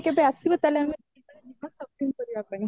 କେବେ ଆସିବ ତାହାଲେ ଆମେ shopping କରିବା ପାଇଁ